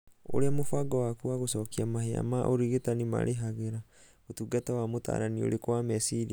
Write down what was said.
ũria mũbango waku wa gũcokia mahia ma ũrigitani marĩhagĩra ũtungata wa mũtaarani ũrĩkũ wa meciria.